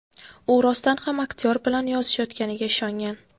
U rostdan ham aktyor bilan yozishayotganiga ishongan.